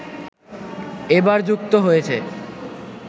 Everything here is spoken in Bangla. এবার যুক্ত হয়েছে